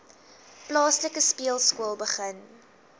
plaaslike speelskool begin